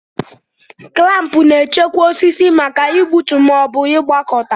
Klampu na-echekwa osisi maka igbutu ma ọ bụ ịgbakọta.